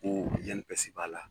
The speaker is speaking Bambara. Ko INPS b'a la